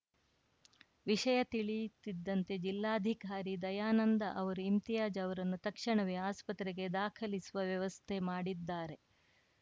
ವಿಷಯ ತಿಳಿಯುತ್ತಿದ್ದಂತೆ ಜಿಲ್ಲಾಧಿಕಾರಿ ದಯಾನಂದ ಅವರು ಇಮ್ತಿಯಾಜ್‌ ಅವರನ್ನು ತಕ್ಷಣವೇ ಆಸ್ಪತ್ರೆಗೆ ದಾಖಲಿಸುವ ವ್ಯವಸ್ಥೆ ಮಾಡಿದ್ದಾರೆ